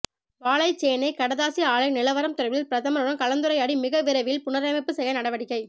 வாழைச்சேனை கடதாசி ஆலை நிலவரம் தொடர்பில் பிரதமருடன் கலந்துரையாடி மிக விரைவில் புனரமைப்பு செய்ய நடவடிக்கை